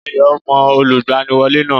Ayọ̀ mọ Olùgbaniwọ́lé náà